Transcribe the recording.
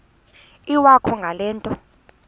iwakho ngale nto